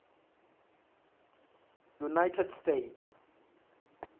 united states